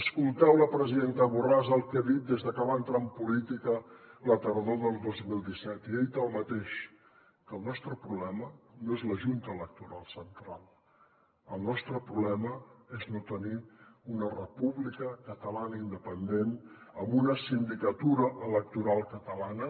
escolteu la presidenta borràs el que ha dit des de que va entrar en política la tardor del dos mil disset i ha dit el mateix que el nostre problema no és la junta electoral central el nostre problema és no tenir una república catalana independent amb una sindicatura electoral catalana